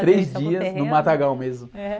no terreno?rês dias... No matagal mesmo.h?